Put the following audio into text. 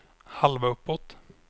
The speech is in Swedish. halva uppåt